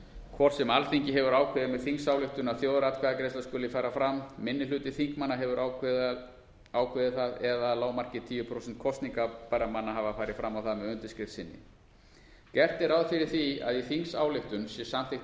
hvort sem alþingi hefur ákveðið með þingsályktun að þjóðaratkvæðagreiðsla skuli fari fram minni hluti þingmanna hefur ákveðið það eða að lágmarki tíu prósent kosningarbærra manna hafa farið fram á það með undirskrift sinni gert er ráð fyrir því að í þingsályktun sé samþykkt